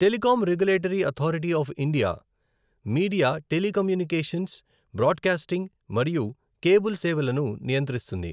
Telecom regulatory authority of India media, telecommunications, broadcasting మరియు cable సేవలను నియంత్రిస్తుంది.